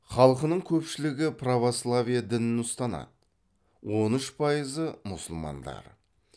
халқының көпшілігі православие дінін ұстанады он үш пайызы мұсылмандар